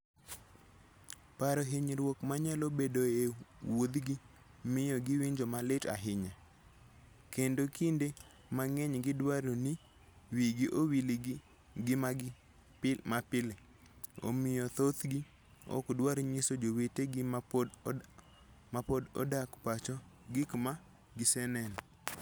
Paro hinyruok manyalo bedoe e wuodhgi miyo giwinjo malit ahinya, kendo kinde mang'eny gidwaro ni wigi owil gi ngimagi mapile, omiyo thothgi ok dwar nyiso jowetegi ma pod odak pacho gik ma giseneno.